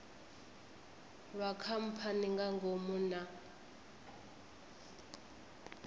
lwa khamphani nga ngomu na